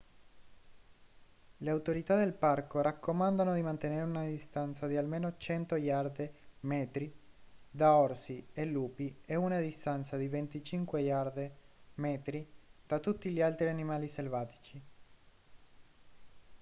le autorità del parco raccomandano di mantenere una distanza di almeno 100 iarde/metri da orsi e lupi e una distanza di 25 iarde/metri da tutti gli altri animali selvatici